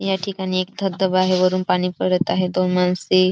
या ठिकाणी एक धबधबा आहे वरून पाणी पडत आहेत दोन माणसे --